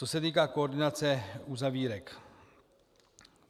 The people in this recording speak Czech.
Co se týká koordinace uzavírek.